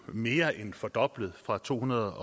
mere end fordoblet fra tohundrede